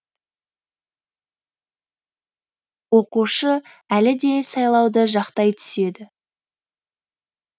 оқушы әлі де сайлауды жақтай түседі